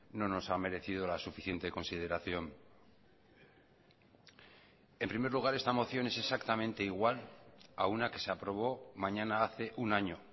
no nos ha merecido la suficiente consideración en primer lugar esta moción es exactamente igual a una que se aprobó mañana hace un año